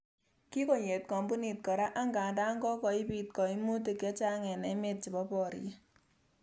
Kikoyet kompunit kora angandan kokoiibit koimutik chechang en emet chebo boriet.